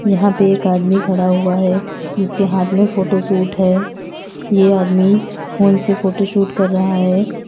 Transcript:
यहां पे एक आदमी खड़ा हुआ है जिसके हाथ में फोटो शूट है ये आदमी फोन से फोटो शूट कर रहा है।